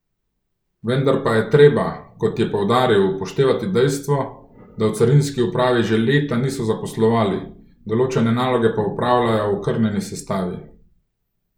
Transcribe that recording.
Vendar pa je treba, kot je poudaril, upoštevati dejstvo, da v carinski upravi že leta niso zaposlovali, določene naloge pa opravljajo v okrnjeni sestavi.